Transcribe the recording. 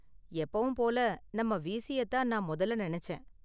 எப்போவும் போல, நம்ம வீஸியை தான் நான் முதல்ல நினைச்சேன்.